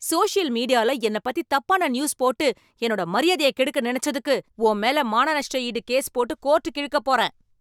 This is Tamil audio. சோஷியல் மீடியால என்னப் பத்தி தப்பான நியூஸ் போட்டு என்னோட மரியாதைய கெடுக்க நினச்சதுக்கு, உன் மேல மான நஷ்ட ஈடு கேஸ் போட்டு கோர்ட்டுக்கு இழுக்கப் போறேன்